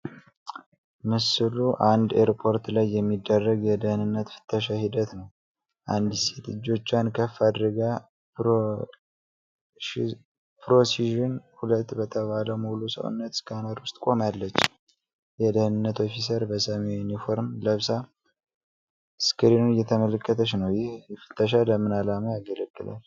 ምስሉ አንድ ኤርፖርት ላይ የሚደረግ የደህንነት ፍተሻ ሂደት ነው። አንዲት ሴት እጆቿን ከፍ አድርጋ 'ፕሮቪዥን 2' በተባለ ሙሉ ሰውነት ስካነር ውስጥ ቆማለች። የደህንነት ኦፊሰር በሰማያዊ ዩኒፎርም ለብሳ ስክሪኑን እየተመለከተች ነው። ይህ ፍተሻ ለምን ዓላማ ያገለግላል?